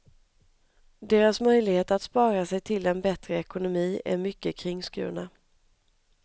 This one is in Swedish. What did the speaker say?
Deras möjligheter att spara sig till en bättre ekonomi är mycket kringskurna.